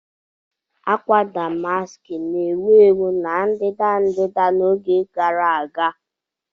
Akwa Damaski na-ewu ewu na ndịda-ndịda n'oge gara aga.